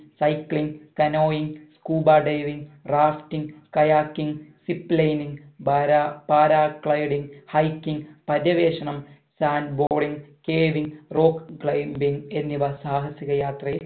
cycling canoeing scuba diving rafting kayaking zip liningpara para gliding hiking പര്യവേഷണം sand balling caving rock climbing എന്നിവ സാഹസിക യാത്രയിൽ